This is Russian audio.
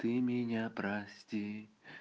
ты меня прости